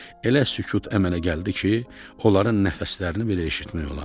Elə sükut əmələ gəldi ki, onların nəfəslərini belə eşitmək olardı.